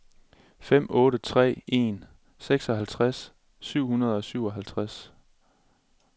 fem otte tre en seksoghalvtreds syv hundrede og syvoghalvtreds